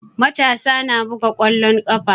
Matasa na buga ƙwallon ƙafa.